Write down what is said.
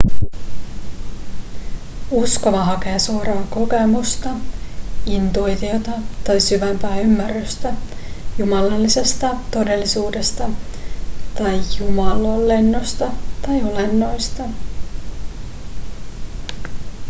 uskova hakee suoraa kokemusta intuitiota tai syvempää ymmärrystä jumalallisesta todellisuudesta tai jumalolennosta tai olennoista